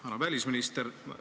Härra välisminister!